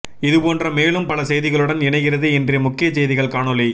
இதுபோன்ற மேலும் பல செய்திகளுடன் இணைகிறது இன்றைய முக்கிய செய்திகள் காணொலி